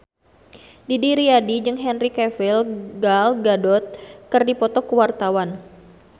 Didi Riyadi jeung Henry Cavill Gal Gadot keur dipoto ku wartawan